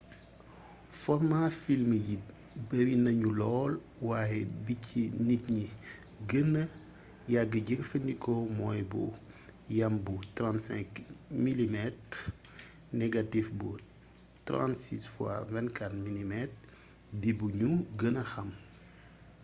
formaa film yi bari nañu lool waaye bi ci nit ñi gëna yàgga jëfandikoo mooy bu yam bu 35 mm négatif bu 36 x 24 mm di bi ñu gëna xam